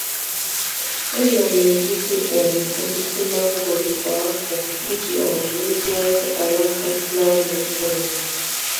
Ana m egbutu um osisi mangoro kwa afọ iji um meziwanye alaka na-amị mkpụrụ.